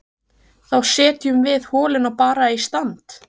Þá setjum við holuna bara í stand!